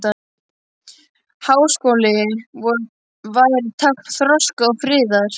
Háskóli vor væri tákn þroska og friðar.